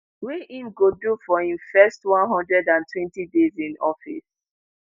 wey im go do for im first 120 days in office.